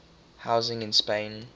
housing in spain